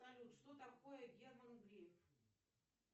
салют что такое герман греф